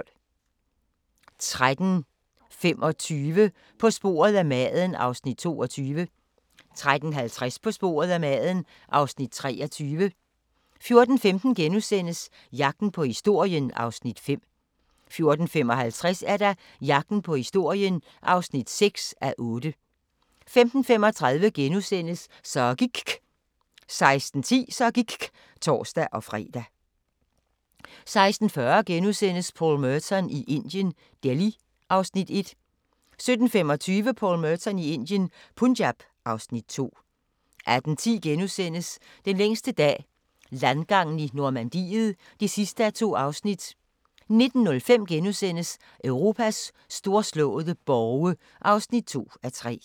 13:25: På sporet af maden (Afs. 22) 13:50: På sporet af maden (Afs. 23) 14:15: Jagten på historien (5:8)* 14:55: Jagten på historien (6:8) 15:35: Så gIKK' * 16:10: Så gIKK' (tor-fre) 16:40: Paul Merton i Indien – Delhi (Afs. 1)* 17:25: Paul Merton i Indien – Punjab (Afs. 2) 18:10: Den længste dag – landgangen i Normandiet (2:2)* 19:05: Europas storslåede borge (2:3)*